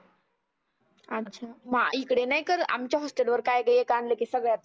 अच्छा मा इकडे नाही करत. आमच्या हॉस्टेलला वर काय ग एक आनलं की सगळ्यांना